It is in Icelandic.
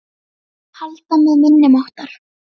Halda með minni máttar.